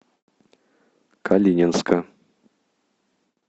калининска